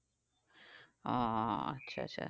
আচ্ছা আচ্ছা